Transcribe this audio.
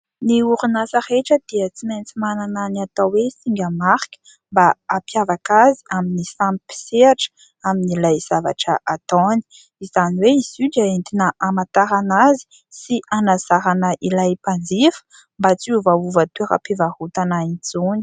Ny orinasa rehetra dia tsy maintsy manana ny atao hoe singa marika mba ampihavaka azy amin'ny samy mpisehatra amin'ilay zavatra ataony. Izany hoe izy io dia entina hamantarana azy sy hanazarana ilay mpanjifa mba tsy hiovaova toeram-pivarotana intsony.